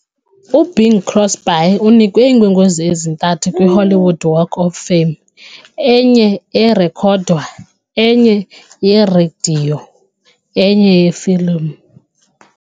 UBing Crosby unikwe iinkwenkwezi ezintathu kwiHollywood Walk of Fame- enye erekhodwa, enye yerediyo, enye yeefilimu.